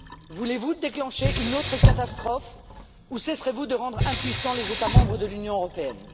Voulez vous déclencher une autre catastrophe ou cesserez vous de rendre impuissants les États membres de l'Union européenne?